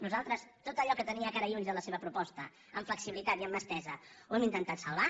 nosaltres tot allò que tenia cara i ulls de la seva proposta amb flexibilitat i amb mà estesa ho hem intentat salvar